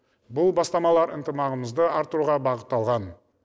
бұл бастамалар ынтымағымызды арттыруға бағытталған